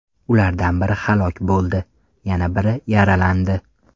Ulardan biri halok bo‘ldi, yana biri yaralandi.